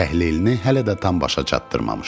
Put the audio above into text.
Təhlilini hələ də tam başa çatdırmamışdı.